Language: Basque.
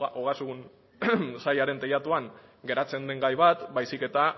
ogasun sailaren teilatuan geratzen den gai bat baizik eta